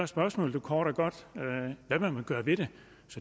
spørgsmålet kort og godt hvad vil man gøre ved det